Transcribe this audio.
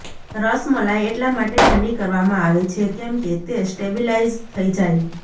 રસ મલાઈ એટલા માટે ઠંડી કરવામાં આવે છે કેમ કે તે સ્ટેબીલાઈઝ થઈ જાય